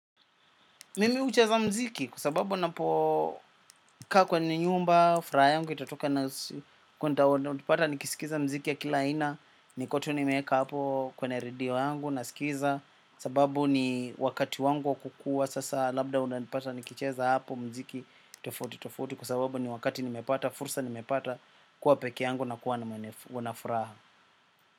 Mimi hucheza mziki kwa sababu napokaa kwa ni nyumba, furaha yangu, itatoka na kuwa ni utanipata nikisikiza mziki ya kila aina, niko tu nimeeka hapo kwena radio yangu, nasikiza, sababu ni wakati wangu wa kukua sasa labda unanipata nikicheza hapo mziki tofauti tofauti kwa sababu ni wakati nimepata, fursa nimepata kuwa peke yangu na kuwa na mwene na furaha.